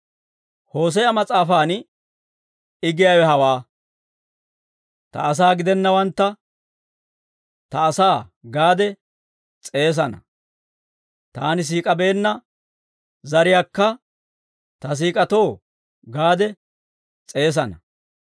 Hoose'a mas'aafan I giyaawe hawaa; «Ta asaa gidennawantta, ‹Ta asaa› gaade s'eesana. Taani siik'abeenna zariyaakka, ‹Ta siik'k'aatoo› gaade s'eesana.